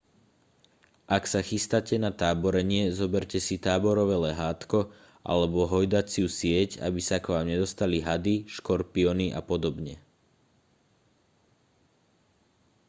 ak sa chystáte na táborenie zoberte si táborové lehátko alebo hojdaciu sieť aby sa k vám nedostali hady škorpióny a podobne